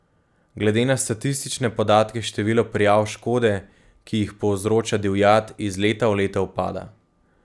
Glede na statistične podatke število prijav škode, ki jih povzroča divjad, iz leta v leto upada.